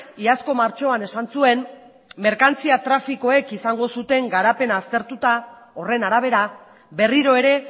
iazko martxoan esan zuen merkantzia trafikoek izango zuten garapena aztertuta horren arabera berriro ere